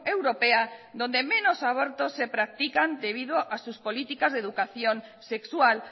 europea donde menos abortos se practican debido a sus políticas de educación sexual